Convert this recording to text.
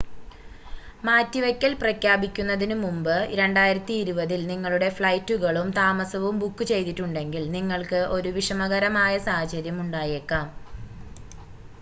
മാറ്റിവയ്ക്കൽ പ്രഖ്യാപിക്കുന്നതിനുമുമ്പ് 2020-ൽ നിങ്ങളുടെ ഫ്ലൈറ്റുകളും താമസവും ബുക്ക് ചെയ്തിട്ടുണ്ടെങ്കിൽ നിങ്ങൾക്ക് ഒരു വിഷമകരമായ സാഹചര്യം ഉണ്ടായേക്കാം